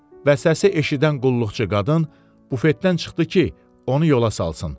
Və səsi eşidən qulluqçu qadın bufetdən çıxdı ki, onu yola salsın.